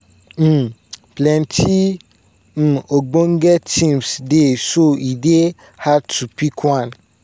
um plenti um ogbonge teams dey so e dey hard to pick one.